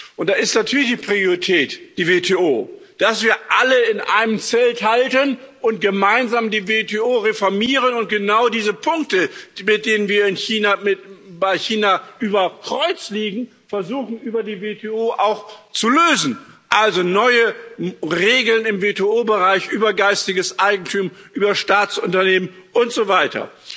Und da ist natürlich die Priorität die WTO, dass wir alle in einem Zelt halten und gemeinsam die WTO reformieren und versuchen, genau diese Punkte, bei denen wir mit China über Kreuz liegen, über die WTO auch zu lösen also neue Regeln im WTO Bereich über geistiges Eigentum, über Staatsunternehmen und so weiter.